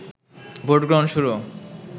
ভোটগ্রহণ শুরু